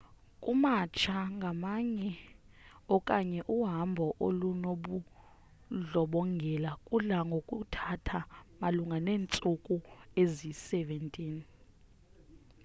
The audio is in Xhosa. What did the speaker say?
ukumatsha ngakunye okanye uhamba olunobundlobongela kudla ngokuthatha malunga neentsuku eziyi-17